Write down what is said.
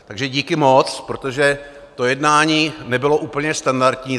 Takže díky moc, protože to jednání nebylo úplně standardní.